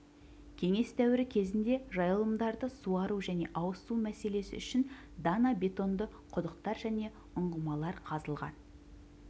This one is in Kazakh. кеңес дәуірі кезінде жайылымдарды суару және ауыз су мәселесі үшін дана бетонды құдықтар және ұңғымалар қазылған